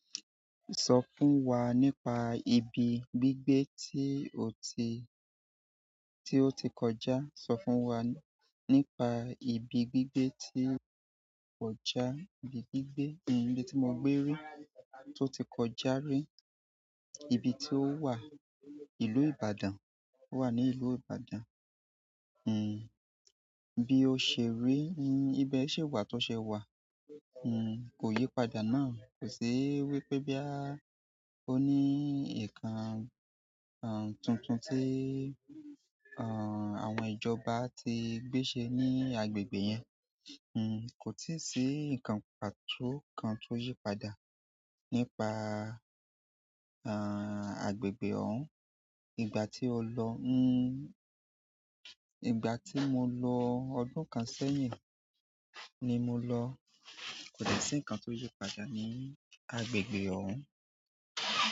Sọ fún wa nípa ibi gbígbé tí o ti, tí ó ti kọjá. Sọ fún wa nípa ibi gbígbé tí o kọjá. Ibi gbígbé, ibi tí mo gbé rí, tó ti kọjá rí. Ibi tí ó wà, ìlú Ìbàdàn. Ó wà ní ìlú Ìbàdàn. Eh bi o se ri, ibe si wa bi o se wa. Hmm. Kò yípadà náà. Kò sí wípé boya ó ní nǹkan, ahn, tuntun tí, ahn, àwọn ìjọba ti gbé ṣe ní agbègbè yẹn. Hmm. Kò tí ì sí nǹkan pàtó kan tó yípadà nípa, ahn, agbègbè òhún. Ìgbà tí o lọ, hmm, ìgbà tí mo lọ ọdún kan sẹ́yìn ni mo lọ. Kò de sí nǹkan tó yípadà ní agbègbè òhún.